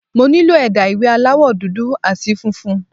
Mo nílò ẹ̀dà ìwé aláwọ̀ dúdú àti funfun.